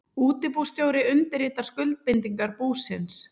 Útibússtjóri undirritar skuldbindingar búsins.